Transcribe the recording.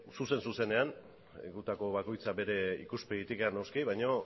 zuzen zuzenean gutako bakoitza bere ikuspegitikan noski baino